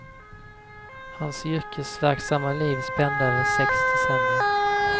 Hans yrkesverksamma liv spände över sex decennier.